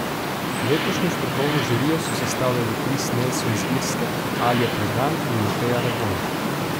Letošnjo strokovno žirijo so sestavljali Kris Nelson z Irske, Alja Predan in Mateja Rebolj.